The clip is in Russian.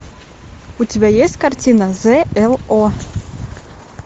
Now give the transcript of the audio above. у тебя есть картина з л о